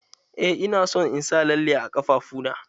Eh ina son in sa lalle a ƙafafuna.